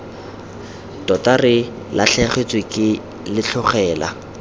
tota re latlhegetswe ke letlhogela